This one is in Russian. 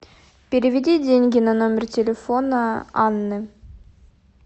переведи деньги на номер телефона анны